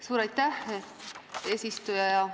Suur aitäh, eesistuja!